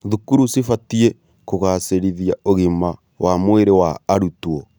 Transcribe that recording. Thukuru cibatiĩ kũgacĩrithia ũgima wa mwĩrĩ wa arutwo.